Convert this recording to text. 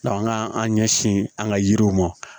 an ka an ɲɛsin an ka yiriw ma